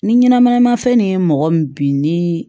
Ni ɲɛnɛmanama fɛn nin ye mɔgɔ min bi ni